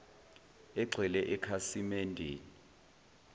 egxile ekhasimen deni